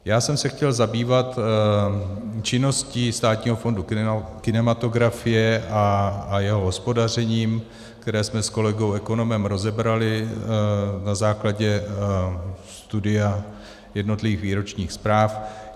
Já jsem se chtěl zabývat činností Státního fondu kinematografie a jeho hospodařením, které jsme s kolegou ekonomem rozebrali na základě studia jednotlivých výročních zpráv.